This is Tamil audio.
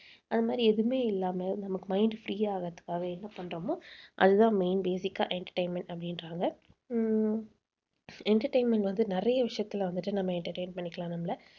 அது மாதிரி எதுவுமே இல்லாம நமக்கு mind free ஆகறதுக்காக என்ன பண்றோமோ அதுதான் main basic ஆ entertainment அப்படின்றாங்க. உம் entertainment வந்து நிறைய விஷயத்தில வந்துட்டு நம்ம entertain பண்ணிக்கலாம் நம்மள